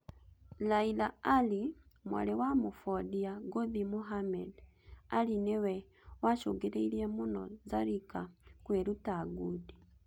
Laila Ali, mwarĩ wa mũbondia ngũthi Muhammad Ali nĩwe wacũngĩrĩirie mũno Zarika kwĩruta ngundi